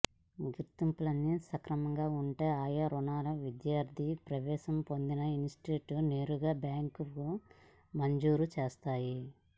గుర్తింపులన్నీ సక్రమంగా ఉంటే ఆయా రుణాలను విద్యార్థి ప్రవేశం పొందిన ఇన్స్టిట్యూట్కే నేరుగా బ్యాంకులు మంజూరు చేస్తాయి